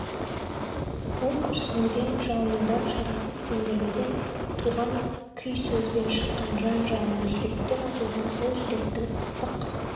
ол күрсінуден жалынудан шарасыз сенделуден туған күй сөзбен шыққан жан жалыны жүректен атылған сол жүректің ыстық